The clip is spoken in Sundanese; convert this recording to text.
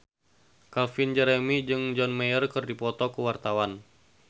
Calvin Jeremy jeung John Mayer keur dipoto ku wartawan